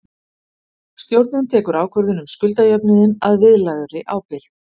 Stjórnin tekur ákvörðun um skuldajöfnuðinn að viðlagðri ábyrgð.